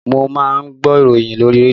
Mo máa ń gbọ́ ìròyìn lórí rédíò